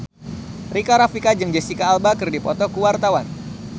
Rika Rafika jeung Jesicca Alba keur dipoto ku wartawan